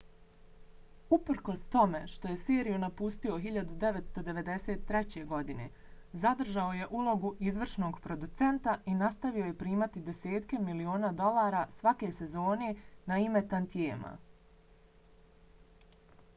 uprkos tome što je seriju napustio 1993. godine zadržao je ulogu izvršnog producenta i nastavio je primati desetke miliona dolara svake sezone na ime tantijema